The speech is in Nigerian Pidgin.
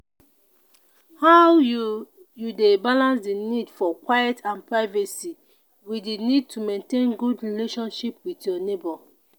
how you you dey balance di need for quiet and privacy with di need to maintain good relationship with your neighbor?